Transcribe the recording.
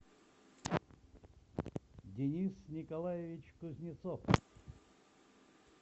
денис николаевич кузнецов